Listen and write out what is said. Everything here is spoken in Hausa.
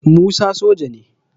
Musa soja ne